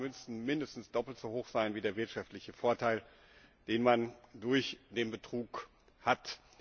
Die Strafen müssen mindestens doppelt so hoch sein wie der wirtschaftliche Vorteil, den man durch den Betrug hat.